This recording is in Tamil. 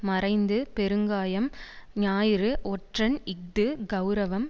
மறைந்து பெருங்காயம் ஞாயிறு ஒற்றன் இஃது கெளரவம்